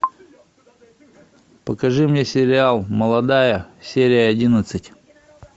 покажи мне сериал молодая серия одиннадцать